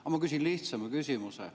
Aga ma küsin lihtsama küsimuse.